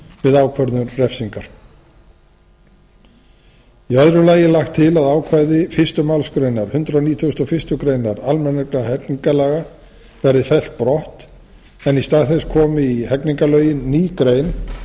við ákvörðun refsingar í öðru lagi er lagt til að ákvæði fyrstu málsgrein hundrað nítugasta og fyrstu grein almennra hegningarlaga verði fellt brott en í stað þess komi í hegningarlögin ný grein